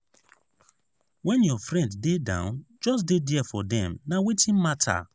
when your friend dey down just dey there for dem; na wetin matter.